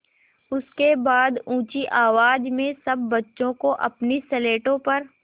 उसके बाद ऊँची आवाज़ में सब बच्चों को अपनी स्लेटों पर